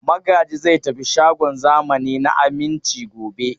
Magaji zai tafi shagon zamani na Aminci gobe.